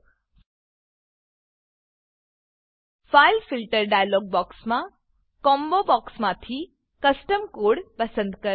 file filter file filter dialogue બોક્સમાં combo બોક્સમાંથી custom code custom code પસંદ કરો